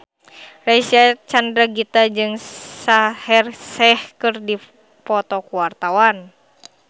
Reysa Chandragitta jeung Shaheer Sheikh keur dipoto ku wartawan